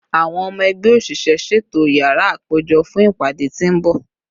Awọn ọmọ ẹgbẹ oṣiṣẹ, ṣeto yara apejọ fun ipade ti n bọ